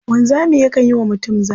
Wanzami yakan yi wa mutum zane.